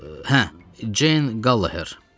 Hə, Jane Gallagher.